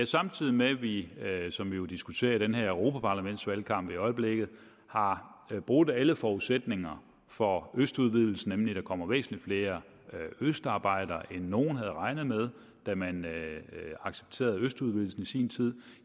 samtidig med at vi som vi jo diskuterer i den her europaparlamentsvalgkamp i øjeblikket har brudt alle forudsætninger for østudvidelsen nemlig den kommer væsentlig flere østarbejdere end nogen havde regnet med da man accepterede østudvidelsen i sin tid